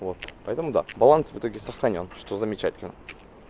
вот поэтому да баланс в итоге сохранён что замечательно